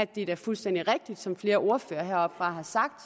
det er fuldstændig rigtigt som flere ordførere har sagt